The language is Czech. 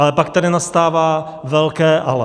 Ale pak tady nastává velké ale.